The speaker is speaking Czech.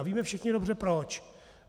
A víme všichni dobře proč.